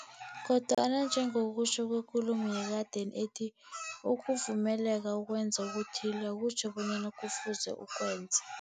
Kodwana njengokutjho kwekulumo yekadeni ethi, ukuvumeleka ukwenza okuthile, akutjho bonyana kufuze ukwenze.